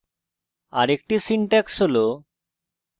আরেকটি syntax হল: